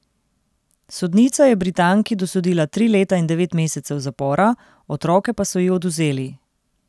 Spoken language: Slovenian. Sodnica je Britanki dosodila tri leta in devet mesecev zapora, otroke pa so ji odvzeli.